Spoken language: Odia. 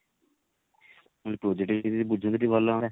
ମାନେ project ବିଷୟ ରେ ଯଦି ବୁଝନ୍ତୁ ଟିକେ ଭଲ ହୁଅନ୍ତା